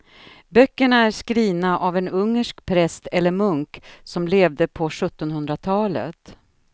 Böckerna är skrivna av en ungersk präst eller munk som levde på sjuttonhundratalet.